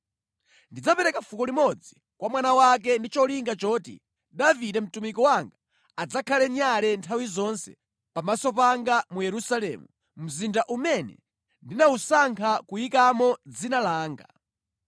Ndidzapereka fuko limodzi kwa mwana wake ndi cholinga choti Davide mtumiki wanga adzakhale nyale nthawi zonse pamaso panga mu Yerusalemu, mzinda umene ndinawusankha kuyikamo Dzina langa.